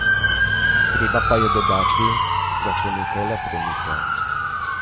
Treba pa je dodati, da se nekaj le premika.